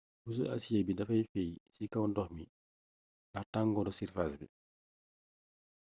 puso asiyee bi dafay feey ci kaw ndox mi ndax tangooru sirfaas bi